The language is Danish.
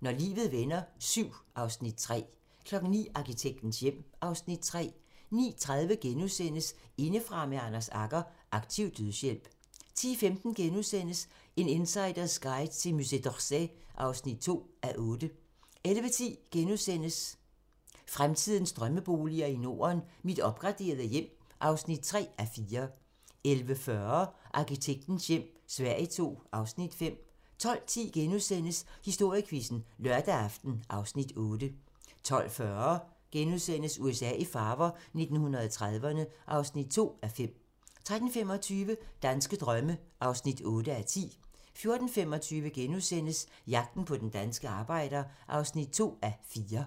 Når livet vender VII (Afs. 3) 09:00: Arkitektens hjem (Afs. 3) 09:30: Indefra med Anders Agger - Aktiv dødshjælp * 10:15: En insiders guide til Musée d'Orsay (2:8)* 11:10: Fremtidens drømmeboliger i Norden: Mit opgraderede hjem (3:4)* 11:40: Arkitektens hjem - Sverige II (Afs. 5) 12:10: Historiequizzen: Lørdag aften (Afs. 8)* 12:40: USA i farver - 1930'erne (2:5)* 13:25: Danske drømme (8:10) 14:25: Jagten på den danske arbejder (2:4)*